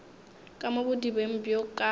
ka mo bodibeng bjo ka